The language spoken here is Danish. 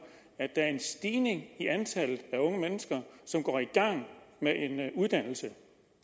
at der er en stigning i antallet af unge mennesker som går i gang med en uddannelse